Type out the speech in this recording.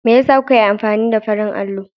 Me yasa kuka yi amfani da farin allon?